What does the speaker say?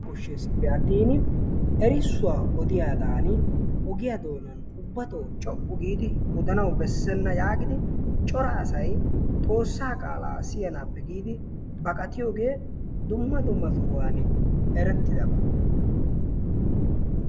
Kosheespe atiin erissuwaa odiyaagan ogiyaan doonaani ubbatoo coo"u giidi odanawu beessena yaagidi cora asay xoossaa qaalaa siyanaappe giidi baqatiyoogee dumma dumma sohuwaani erettidaba.